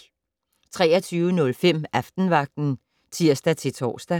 23:05: Aftenvagten (tir-tor)